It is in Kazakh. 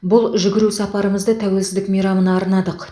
бұл жүгіру сапарымызды тәуелсіздік мейрамына арнадық